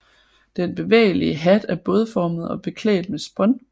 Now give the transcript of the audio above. Den bevægelige hat er bådformet og beklædt med spån